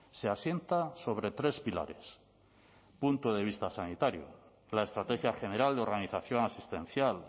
se asienta sobre tres pilares punto de vista sanitario la estrategia general de organización asistencial